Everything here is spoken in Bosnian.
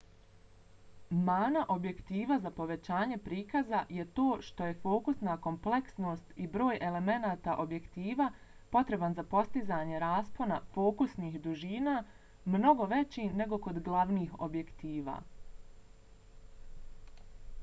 mana objektiva za povećanje prikaza je to što je fokusna kompleksnost i broj elemenata objektiva potreban za postizanje raspona fokusnih dužina mnogo veći nego kod glavnih objektiva